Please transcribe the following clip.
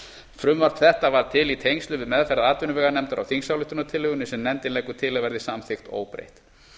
frumvarp þetta varð til í tengslum við meðferð atvinnuveganefndar á þingsályktunartillögunni sem nefndin leggur til að verði samþykkt óbreytt